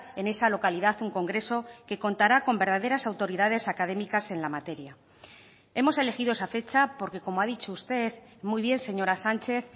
en esa localidad un congreso que contará con verdaderas autoridades académicas en la materia hemos elegido esa fecha porque como ha dicho usted muy bien señora sánchez